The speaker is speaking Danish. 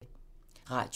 Radio 4